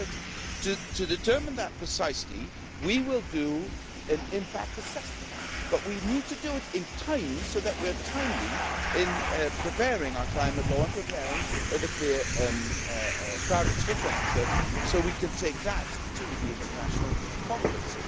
2030. To determine that precisely, we will do an impact assessment, but we need to do it in time so that we are timely in preparing our climate law and preparing the clear targets for 2030 so we can take that to the international conference.